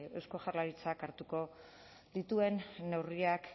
eusko jaurlaritzak hartuko dituen neurriak